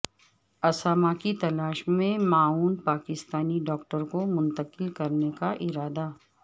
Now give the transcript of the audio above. اسامہ کی تلاش میں معاون پاکستانی ڈاکٹر کو منتقل کرنے کا ارادہ